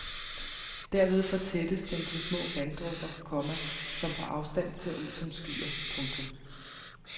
Derved fortættes den til små vanddråber, komma som på afstand ser ud som skyer. punktum